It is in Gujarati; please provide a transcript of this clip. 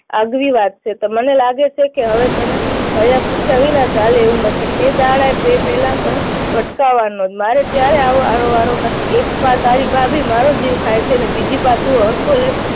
આગવી વાત છે. તો મને લાગે છે કે હવે તને કહ્યાપુછ્યા વિના ચાલે એવું નથી. તે દાડે તે પેલા મારે તને ભટકાવવાનો છે. મારે ક્યારેય વારો આવવાનો નથી. એક પાર તારી ભાભી મારો જીવ ખાય છે અને બીજી પાર તું સરખો રેહ